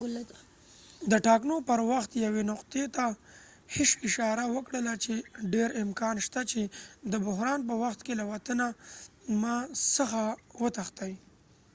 hsieh د ټاکنو پر وخت یوې نقطې ته اشاره وکړله چې ډیر امکان شته چې ma د بحران په وخت کې له وطن څخه وتښتي